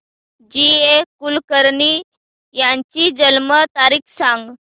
जी A Kulkarni यांची जन्म तारीख सांग